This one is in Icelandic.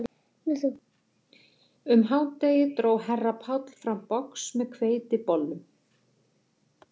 Um hádegið dró herra Páll fram box með hveitibollum